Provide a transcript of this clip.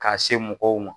K'a se mɔgɔw ma